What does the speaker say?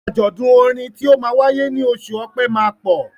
Àjọ̀dún orin tí ó máa wáyé ní oṣù Ọpẹ́ máa pọ̀.